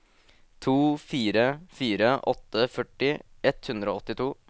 to fire fire åtte førti ett hundre og åttito